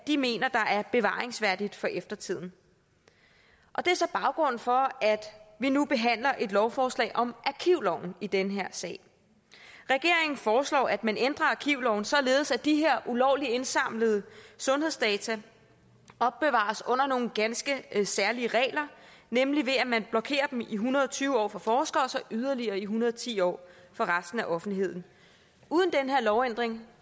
de mener er bevaringsværdigt for eftertiden og det er så baggrunden for at vi nu behandler et lovforslag om arkivloven i den her sag regeringen foreslår at man ændrer arkivloven således at de her ulovligt indsamlede sundhedsdata opbevares under nogle ganske særlige regler nemlig ved at man blokerer dem i en hundrede og tyve år for forskere og så yderligere i en hundrede og ti år for resten af offentligheden uden den her lovændring